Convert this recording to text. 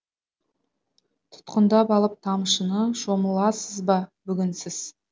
тұтқындап алып тамшыны шомыласыз ба бүгін сіз